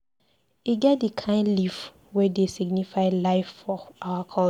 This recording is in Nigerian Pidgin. E get di kain leaf wey dey signify life for our culture.